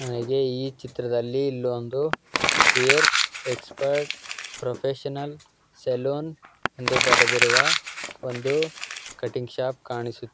ಅದೇ ಈ ಚಿತ್ರದಲ್ಲಿ ಇಲ್ಲೊಂದು ಹೇರ್ ಎಕ್ಸ್ಪರ್ಟ್ ಪ್ರೊಫೆಷನಲ್ ಸಲೂನ್ ಎಂದು ಬರೆದಿರುವ ಒಂದು ಕಟಿಂಗ್ ಶಾಪ್ ಕಾಣಿಸು--